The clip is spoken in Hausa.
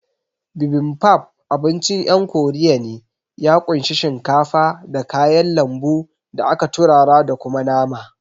Bibimbap abincin ƴan korea ne, ya kunshi shinkafa, da kayan lambu da aka turara da kuma nama